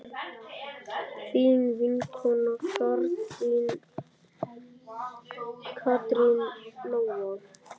Þín vinkona Katrín Lóa.